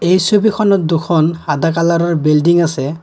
এই ছবিখনত দুখন কালাৰৰ বিল্ডিং আছে।